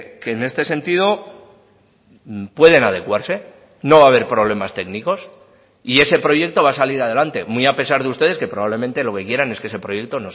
que en este sentido pueden adecuarse no va a haber problemas técnicos y ese proyecto va a salir adelante muy a pesar de ustedes que probablemente lo que quieran es que ese proyecto